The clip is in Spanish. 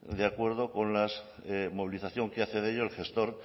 de acuerdo con la movilización que hace de ello el gestor